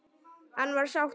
Hann var sáttur.